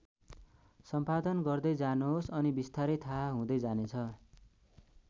सम्पादन गर्दै जानुहोस् अनि विस्तारै थाहा हुँदै जानेछ।